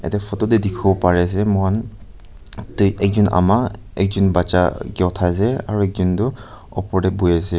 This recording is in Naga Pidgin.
yete photo teh dikhibo pari ase moihan te teki Ama ekjon baccha ke uthai se ekjon tu opor teh bohi ase.